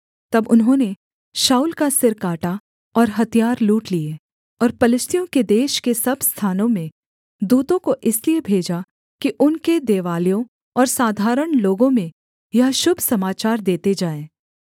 तब उन्होंने शाऊल का सिर काटा और हथियार लूट लिए और पलिश्तियों के देश के सब स्थानों में दूतों को इसलिए भेजा कि उनके देवालयों और साधारण लोगों में यह शुभ समाचार देते जाएँ